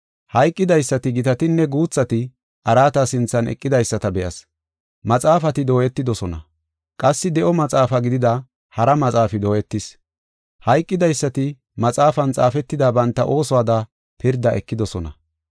Hayqidaysati, gitatinne guuthati araata sinthan eqidaysata be7as; maxaafati dooyetidosona; qassi de7o maxaafa gidida hara maxaafi dooyetis. Hayqidaysati maxaafan xaafetida banta oosuwada pirda ekidosona.